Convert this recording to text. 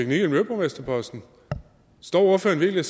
miljøborgmesterposten står ordføreren virkelig